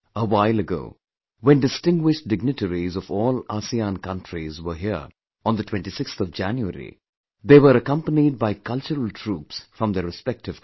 A while ago, when distinguished dignitaries of all ASEAN Countries were here on the 26th of January, they were accompanied by cultural troupes from their respective countries